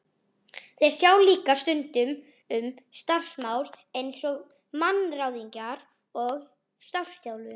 Þeir sjá líka stundum um starfsmannamál eins og mannaráðningar og starfsþjálfun.